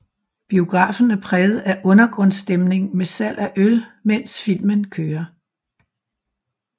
Biografen er præget af undergrundsstemning med salg af øl mens filmen kører